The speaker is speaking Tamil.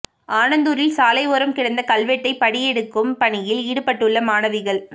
ஆனந்தூரில் சாலை ஓரம் கிடந்த கல்வெட்டைப் படியெடுக்கும் பணியில் ஈடுபட்டுள்ள மாணவிகள்